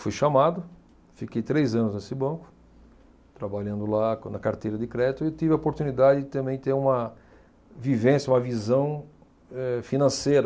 Fui chamado, fiquei três anos nesse banco, trabalhando lá quando, na Carteira de Crédito e tive a oportunidade de também ter uma vivência, uma visão, eh, financeira